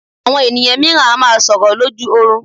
Àwọn ènìyàn mìíràn a máa sọlrọ̀ lójú oorun.